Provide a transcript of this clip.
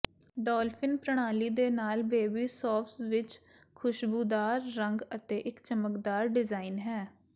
dolphin ਪ੍ਰਣਾਲੀ ਦੇ ਨਾਲ ਬੇਬੀ ਸੋਫਜ਼ ਵਿੱਚ ਖੁਸ਼ਬੂਦਾਰ ਰੰਗ ਅਤੇ ਇੱਕ ਚਮਕਦਾਰ ਡਿਜ਼ਾਇਨ ਹੈ